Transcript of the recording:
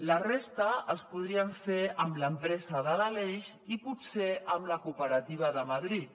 la resta els podríem fer amb l’empresa de l’aleix i potser amb la cooperativa de madrid